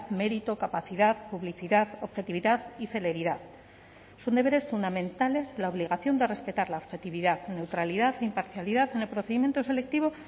mérito capacidad publicidad objetividad y celeridad son deberes fundamentales la obligación de respetar la objetividad neutralidad imparcialidad en el procedimiento selectivo